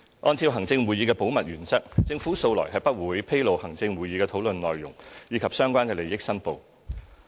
按照行政會議的保密原則，政府素來不會披露行政會議的討論內容，以及相關的利益申報。